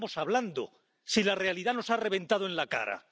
qué estamos hablando, si la realidad nos ha reventado en la cara?